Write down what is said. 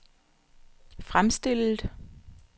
fremstillet